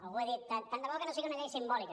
algú ha dit tant de bo que no sigui una llei simbòlica